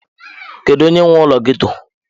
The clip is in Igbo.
Kedu onye nwe ụlọ ghetto?